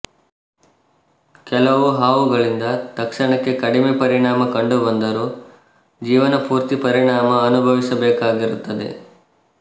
ಕೆಲವು ಹಾವುಗಳಿಂದ ತಕ್ಷಣಕ್ಕೆ ಕಡಿಮೆ ಪರಿಣಾಮ ಕಂಡುಬಂದರೂ ಜೀವನ ಪೂರ್ತಿ ಪರಿಣಾಮ ಅನುಭವಿಸಬೇಕಾಗಿರುತ್ತದೆ